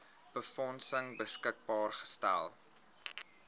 befondsing beskikbaar gestel